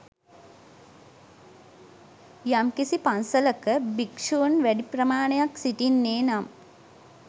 යම් කිසි පන්සලක භික්‍ෂූන් වැඩි ප්‍රමාණයක් සිටින්නේ නම්